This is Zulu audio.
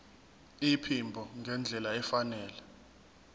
iphimbo ngendlela efanele